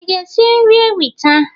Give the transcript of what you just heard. Ị ga-esi nri ewita?